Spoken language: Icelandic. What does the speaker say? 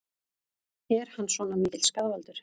Er hann svona mikill skaðvaldur?